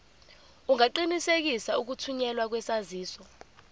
ungaqinisekisa ukuthunyelwa kwesaziso